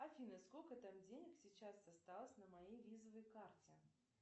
афина сколько там денег сейчас осталось на моей визовой карте